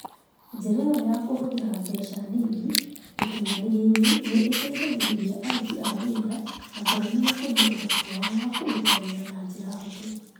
Njĩra ĩyo ya kũhũthĩrĩria mbeca nini ũkinyanĩria-inĩ nĩ ĩteithagĩrĩria aruti a wĩra athomi gũkũria ũhoti wao wa kũruta wĩra na njĩra hũthũ.